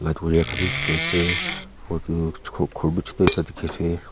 khan bi dikhi asey rodu chuko ghor bi chuto ekta dikhi asey.